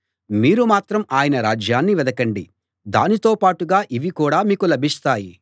మీరు మాత్రం ఆయన రాజ్యాన్ని వెదకండి దానితోపాటుగా ఇవి కూడా మీకు లభిస్తాయి